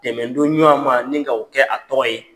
Dɛmɛdonɲuman ma ni k'o kɛ a tɔgɔ ye.